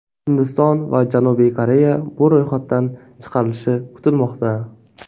Hindiston va Janubiy Koreya bu ro‘yxatdan chiqarilishi kutilmoqda.